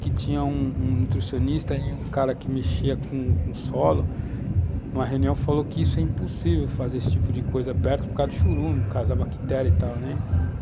que tinha um um nutricionista, e um cara que mexia com solo, numa reunião falou que isso é impossível fazer esse tipo de coisa perto por causa do chorume, por causa da bactéria e tal, né?